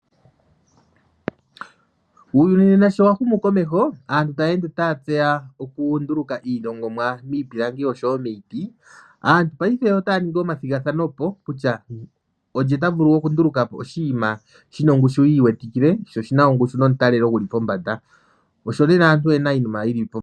Uyuni nena sho wahumu komeho aantu tayende taya tseya okunduluka iilongomwa miipilangi osho wo miiti ,aantu paife otaya ningi omathigathano kutya olye tavulu okunduluka po oshinima shina ongushu yiiwetikile ,sho oshina ongushu nomutalelo guli kombanda osho lela aantu oyena iinima yi li po.